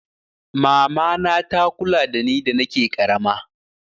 Mama na ta kula da ni da nake ƙarama